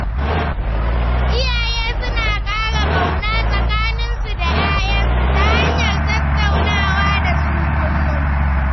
Iyaye suna ƙara ƙauna tsakaninsu da 'ya'yansu ta hanyar tattaunawa da su kullum.